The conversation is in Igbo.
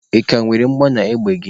Ị ka nwere mgbọ n'égbè gị?